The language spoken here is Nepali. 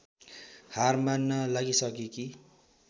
हार मान्न लागिसकेकी